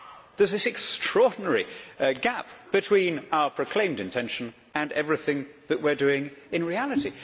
There is this extraordinary gap between our proclaimed intention and everything that we are doing in reality.